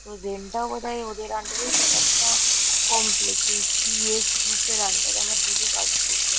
তো জেন্ -টা বোধ হয় ওদের আন্ডার -এই কোনো একটা কমপ্লেক্স এই পি. এস গ্রূপ -এর আন্ডার -এ আমার দিদি কাজ করতো।